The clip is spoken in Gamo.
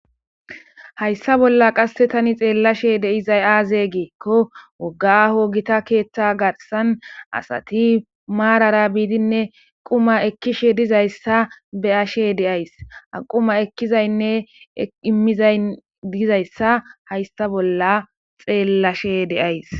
Haysa bolla qase tan xelashe dizay aze giko woga aaho Gita ketha garsan asat marara bidinne quma ekishe dizaysa marara be'ashe de'ays , ha quma ekizaynne imizay dizaysa haysa bolla xelashe de'ays.